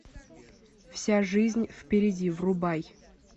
вся жизнь впереди врубай